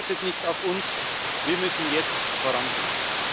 Die Welt wartet nicht auf uns wir müssen jetzt vorangehen.